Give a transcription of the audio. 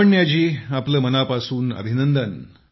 लावण्याजी आपले मनापासून अभिनंदन